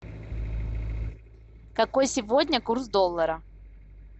какой сегодня курс доллара